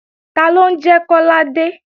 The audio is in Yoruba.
Taló ń jẹ́ Kọ́ládé?